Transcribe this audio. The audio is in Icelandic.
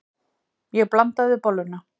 Ég blandaði bolluna.